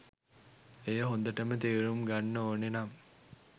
එය හොදටම තේරුම් ගන්න ඕනෙනම්